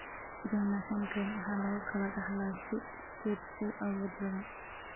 Gardner syndrome waxaa lagu kala dhaxlaa si iskeed u awood badan.